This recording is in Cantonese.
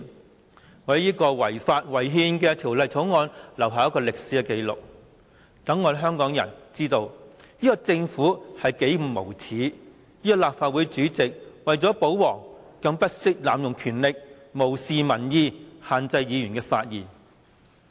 我要為這項違法違憲的《條例草案》留下歷史紀錄，好讓香港人知道這個政府有多無耻；這個立法會主席為了保皇，不惜濫用權力，無視民意，限制議員發言。